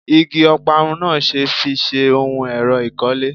Igi Ọparun náà ṣe fi ṣe ohun èrò ìkọ́lé